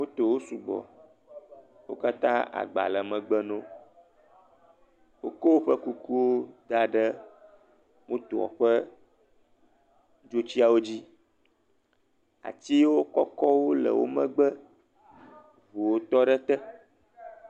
motowo sugbɔ wókatã agba le megbe nowo wokó wóƒe kukuwo daɖe motoɔ ƒe dzotsiwo dzi atiwo kɔkɔwo le wó megbe eʋuwo tɔ ɖe te